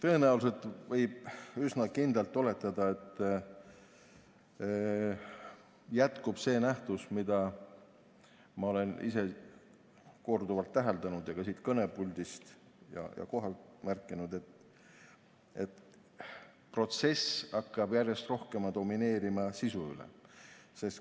Tõenäoliselt võib üsna kindlalt oletada, et jätkub see nähtus, mida ma olen ise korduvalt täheldanud ja ka siit kõnepuldist ja kohalt märkinud, et protsess hakkab järjest rohkem domineerima sisu üle.